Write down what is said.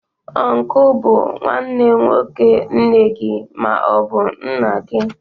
Ọnku bụ nwanne nwoke nne gị ma ọ bụ nna gị.